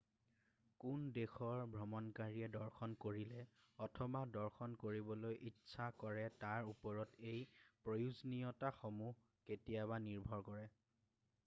কোন দেশৰ ভ্ৰমণকাৰীয়ে দৰ্শন কৰিলে অথবা দৰ্শন কৰিবলৈ ইচ্ছা কৰে তাৰ ওপৰত এই প্ৰয়োজনীয়তাসমূহ কেতিয়াবা নিৰ্ভৰ কৰে